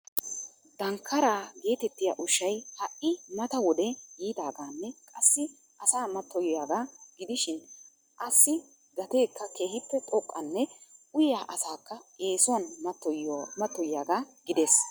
Dankkaara getettiya ushshay ha'i mata wode yiidaaganne qassi asaa mattoyiyaaga gidishin asi gateekka keehippe xoqqanne uyyiya asakka eessuwan mattoyiyaaga gidees.